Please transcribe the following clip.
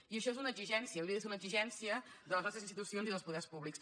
i això és una exigència hauria de ser una exigència de les nostres institucions i dels poders públics